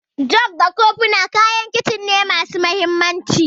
Jug da kofina kayan Kicin ne masu mahimmanci.